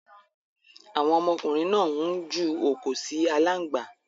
Àwon ọmọkùnrin náà n ju òkò si alángbá